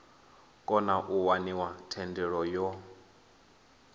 kona u waniwa thendelo yo